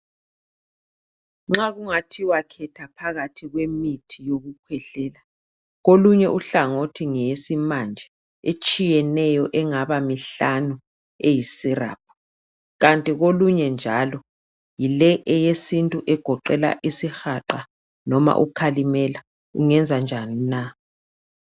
Nxa kungathiwa khetha phakathi kwemithi yokukhwehlela kolunye uhlangothi ngeyesimanje etshiyeneyo engaba mihlanu eyi"syrup" kanti kolunye njalo yile eyesintu egoqela isihaqa noma ukhalimela ungenza njani na?.